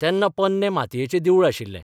तेन्ना पोरणें मातयेचें देवूळ आशिल्लें.